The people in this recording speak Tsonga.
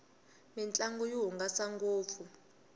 mintlangu yi hungasa ngopfu